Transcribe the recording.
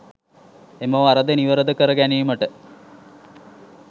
එම වරද නිවරද කර ගැනීමට